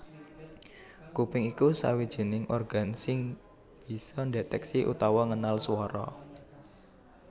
Kuping iku sawijining organ sing bisa ndhetèksi utawa ngenal swara